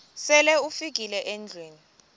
sele ufikile endlwini